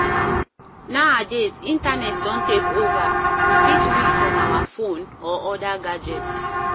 Nowadays, internet don take over, we fit read from our phone or oda gadget